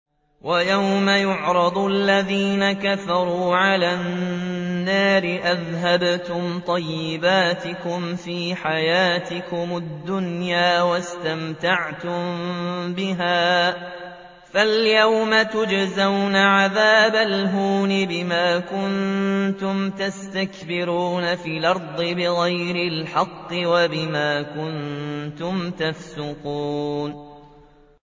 وَيَوْمَ يُعْرَضُ الَّذِينَ كَفَرُوا عَلَى النَّارِ أَذْهَبْتُمْ طَيِّبَاتِكُمْ فِي حَيَاتِكُمُ الدُّنْيَا وَاسْتَمْتَعْتُم بِهَا فَالْيَوْمَ تُجْزَوْنَ عَذَابَ الْهُونِ بِمَا كُنتُمْ تَسْتَكْبِرُونَ فِي الْأَرْضِ بِغَيْرِ الْحَقِّ وَبِمَا كُنتُمْ تَفْسُقُونَ